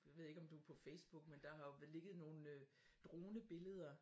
Jeg ved ikke om du på Facebook men der har jo ligget nogle dronebilleder